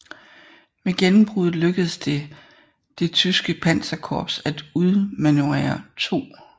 Med gennembruddet lykkedes det det tyske panserkorps at udmanøvrere 2